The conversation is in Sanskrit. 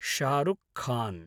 शारुक् खान्